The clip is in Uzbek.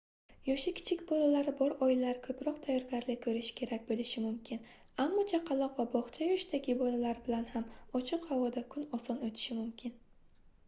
yoshi kichik bolalari bor oilalar koʻproq tayyorgarlik koʻrishi kerak boʻlishi mumkin ammo chaqaloq va bogʻcha yoshidagi bolalar bilan ham ochiq havoda kun oson oʻtishi mumkin